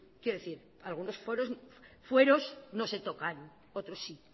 quiero decir algunos fueros no se tocan otros sí